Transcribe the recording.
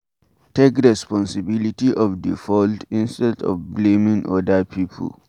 Take responsibilty of di fault instead of blaming oda people